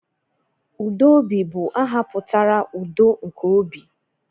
Udobi bụ aha pụtara 'udo nke obi'